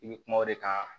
I bɛ kuma o de kan